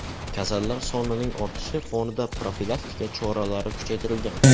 Kasallar sonining ortishi fonida profilaktika choralari kuchaytirilgan.